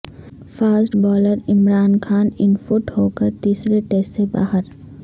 fast bowler Imran Khan unfit ہو کر تیسرے ٹیسٹ سے باہر